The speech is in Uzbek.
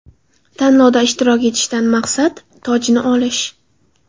Tanlovda ishtirok etishdan maqsad: tojni olish.